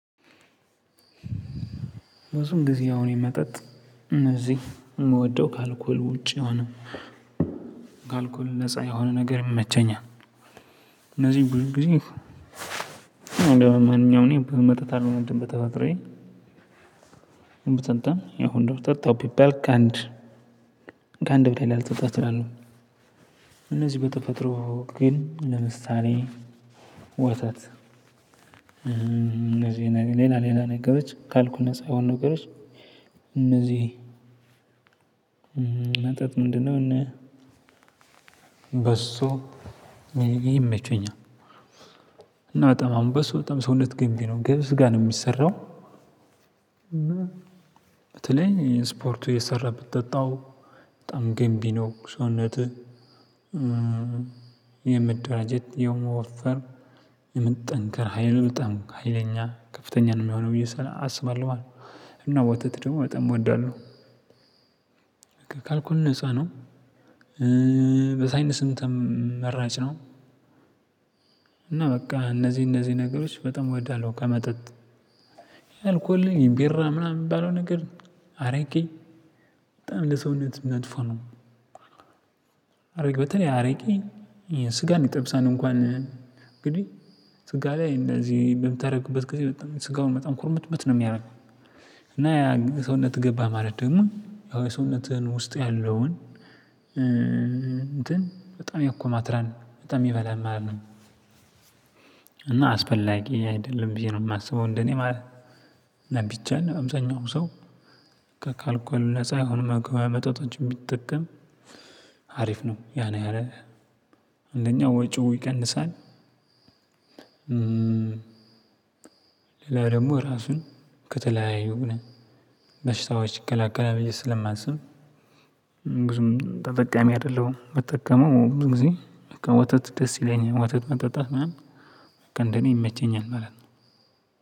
ብዙም ጊዜ አሁን የመጠጥ እነዚህ የምወደው ካልኮል ውጪ የየሆነ ካልኮል ነፃ የሆነ ነገር ይመቸኛል። እነዚህን ብዙ ጊዜ። ማንኛውን እኔ ብዙ መጠጣት አልወድም በተፈጥሮዬ። ብጠጣም አሁን ጠጣሁ ቢባል ከአንድ ከአንድ በላይ ላልጠጣ እችላለሁ። እነዚህ በተፈጥሮ ግን ለምሳሌ ወተት እነዚህ ሌላ ሌላ ነገሮች ከአልኮል ነፃ የሆኑ ነገሮች መጠጥ ምንድነው? እነ በሶ እነዚህ ይመቹኛል። እና በጣም አሁን በሶ በጣም ሰውነት ገንቢ ነው ገብስ ጋ ነው የሚሰራው። በተለይ ስፖርት እየሰራህ ብትጠጣው በጣም ግንቢ ነው ሰውነትህ የመደራጀት የመወፈር የመጠንከር ሀይል በጣም ሀይለኛ ከፍተኛ ነው የሚሆነው ብዬ አስባለሁ ማለት ነው። እና ወተት ደግሞ ወጣም እወዳለሁ። በቃ ካልኮል ነፃ ነው። በዛ አይነት ስም ተመራጭ ነው። እና በቃ እነዚህ እነዚህ ነገሮች በጣም ወዳለው ከመጠጥ አልኮል ቢራ ምናምን የሚባለው ነገር አረቄ በጣም ለሰውነት መጥፎ ነው። አረግ በተለይ አረቄ ስጋ ይጠብሳል እንኳን እንግዲህ ስጋ ላይ እንደዚህ በምታደርግበት ጊዜ ስጋውን በጣም ኩርምትምት ነው የሚያደርገው። እና ያ ሰውነት ገባህ ማለት ደግሞ ያው የሰውነትህን ውስጥህ ያለውን እንትን በጣም ያኮማትራል በጣም ይበላል ማለት ነው። እና አስፈላጊ አይደለም ብዬ ነው የማስበው እንደኔ ማለት ነው። ቢቻል አብዛኛውም ሰው ካልኮል ነፃ የሆኑ መገበያ መጠጦችን ቢጠቀም አሪፍ ነው ያን ያህል አንደኛ ወጪው ይቀንሳል። ሌላ ደግሞ ራሱን ከተለያዩ በሽታዎች ይከላከላል ብየ ስለማስብ። ብዙም ተጠቃሚ አይደለሁም የምጠቀመው ብዙ ጊዜ። ወተት ደስ ይለኛል ወተት መጠጣት ምናምን በቃ እንደኔ ይመቸኛል ማለት ነው።